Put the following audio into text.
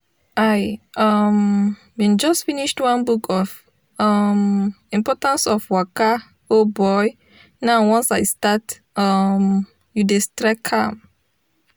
i um bin just finished one book of um importance of waka o boy now once i start um yo dey streak am.